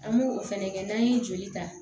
An b'o fɛnɛ kɛ n'an ye joli ta